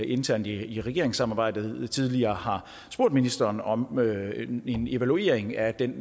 internt i regeringssamarbejdet tidligere har spurgt ministeren om en evaluering af den